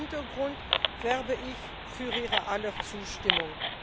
Vor diesem Hintergrund werbe ich für Ihrer aller Zustimmung.